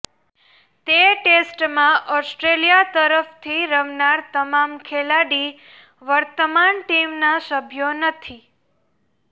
તે ટેસ્ટમાં ઓસ્ટ્રેલિયા તરફથી રમનાર તમામ ખેલાડી વર્તમાન ટીમના સભ્યો નથી